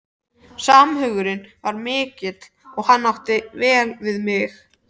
Samhugurinn var mikill og hann átti vel við mig.